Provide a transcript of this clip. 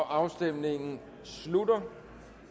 afstemningen slutter